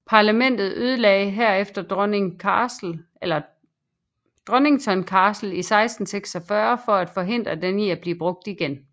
Parlamentet ødelagde herefter Donnington Castle i 1646 for at forhindre den i at blive brugt igen